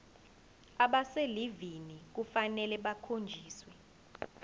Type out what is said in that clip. abaselivini kufanele bakhonjiswe